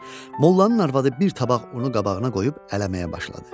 Mollanın arvadı bir tavaq unu qabağına qoyub ələməyə başladı.